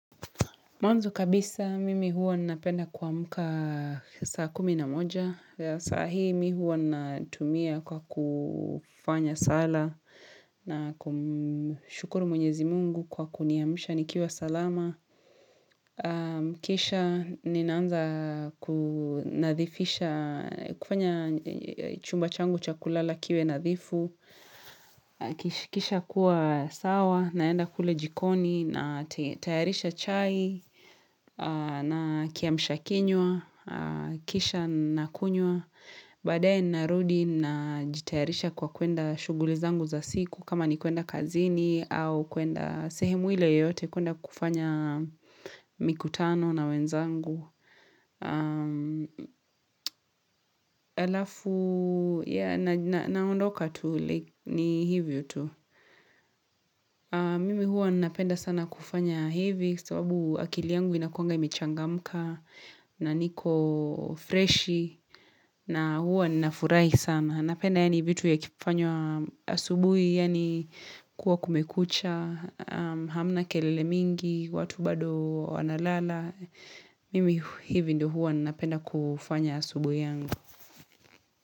Mwanzo kabisa mimi huwa napenda kuamka saa kumi na moja. Saa hii mihuwa natumia kwa kufanya sala na kumshukuru mwenyezi mungu kwa kuniamsha nikiwa salama. Kisha ninaanza kufanya chumba changu chakulala kiwe nathifu. Kisha kuwa sawa naenda kule jikoni na tayarisha chai. Na kiamshakinywa, kisha nakunywa, baadaye narudi na jitayarisha kwa kuenda shugulizangu za siku kama ni kuenda kazini au kuenda sehemu ile yote kuenda kufanya mikutano na wenzangu. Alafu Naondoka tu ni hivyo tu Mimi huwa napenda sana kufanya hivi sababu akili yangu inakuanga imechangamka na niko freshi na huwa ninafurahi sana Napenda ya ni vitu ya kifanywa asubuhi Yani kuwa kumekucha Hamna kelele mingi watu bado wanalala Mimi hivi ndio huwa na penda kufanya asubuhi yangu.